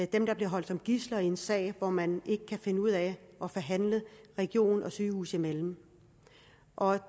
dem der bliver holdt som gidsler i en sag hvor man ikke kan finde ud af at forhandle region og sygehus imellem og